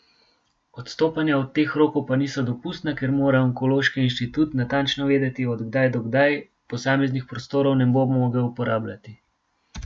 Odstopanja od teh rokov pa niso dopustna, ker mora onkološki inštitut natančno vedeti, od kdaj do kdaj posameznih prostorov ne bo mogel uporabljati.